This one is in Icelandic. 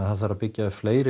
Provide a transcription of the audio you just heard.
það þarf að byggja upp fleiri